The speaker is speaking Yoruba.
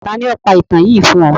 Tani o pa itan yii fun ọ?